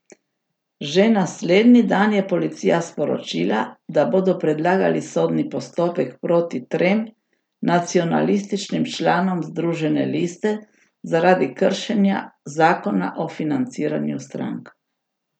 Že naslednji dan je policija sporočila, da bodo predlagali sodni postopek proti trem nacionalističnim članom Združene liste zaradi kršenja zakona o financiranju strank.